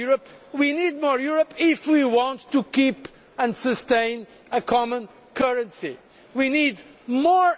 When people ask me why we need more Europe, we need more Europe if we want to keep and sustain a common currency.